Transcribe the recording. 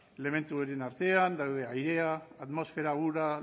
elementu horien artean daude airea atmosfera ura